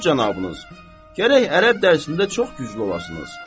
Axund cənabınız, gərək ərəb dərsində çox güclü olasınız.